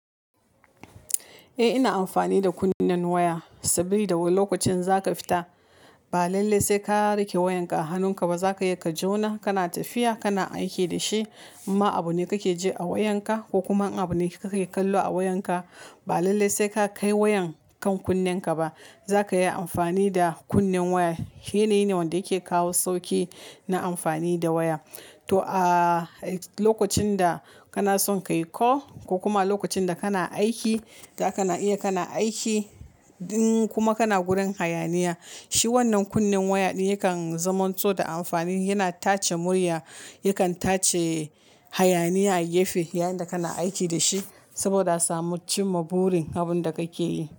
Eh ina amfani da kunnen waya saboda lokacin za ka fita ba lallai sai ka rike wayanka a hannunka ba. Za ka iya ka jona kana tafiya kana aiki da shi. In ma abune kake ji a wayanka ko kuma abune kake kallo a wayanka ba lallai sai ka kai wayan kan kunnenka ba. Za ka yi amfani da kunnen waya. Shi ne wanda yake kawo sauki na amfani da waya. To a lokacin da kana son ka yi call ko kuma lokacin da kana aiki da kana iya kana aiki, in kuma kana gurin hayaniya, shi wannan kunnen waya yakan zaman so da amfani. Yana tace murya, yakan tace hayaniya a gefe yayin da kana aiki da shi saboda samu cimma burin abin da kake yi.